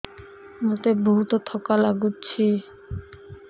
ମୋତେ ବହୁତ୍ ଥକା ଲାଗୁଛି